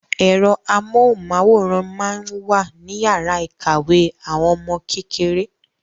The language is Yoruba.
Ẹ̀rọ amóhùnmáwòrán máa ń wà níyàrá ìkàwé àwọn ọmọ kékeré.